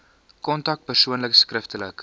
kontak persoonlik skriftelik